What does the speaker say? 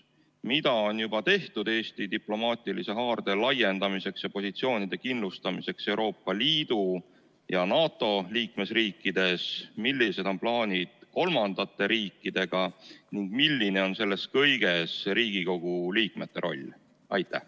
Mida on juba tehtud Eesti diplomaatilise haarde laiendamiseks ja positsioonide kindlustamiseks Euroopa Liidu ja NATO liikmesriikides, millised on plaanid kolmandate riikidega ning milline on selles kõiges Riigikogu liikmete roll?